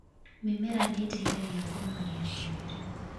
Mĩmera nĩ ĩteithagia kũnoria tĩĩri.